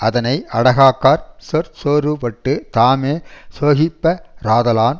அதனை அடக்காக்காற் சொற்சோர்வுபட்டுத் தாமே சோகிப்ப ராதலான்